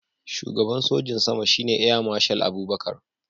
Shugaban sojin sama shine Air Marshal Abubakar